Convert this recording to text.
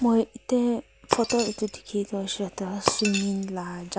moi ete photo etu dekhia toh ekta swimming la jaga.